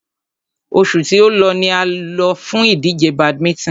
Oṣù tí o lọ ni a lọ fún ìdíje badminton.